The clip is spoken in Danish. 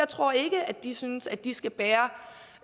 tror ikke at de synes at de skal